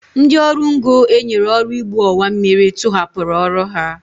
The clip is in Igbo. Ndị ọrụ ngo e nyere ọrụ igbu ọwammiri tụhapụrụ ọrụ ha